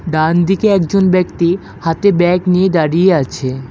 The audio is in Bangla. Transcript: ডান দিকে একজন ব্যক্তি হাতে ব্যাগ নিয়ে দাঁড়িয়ে আছে।